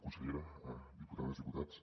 consellera diputades diputats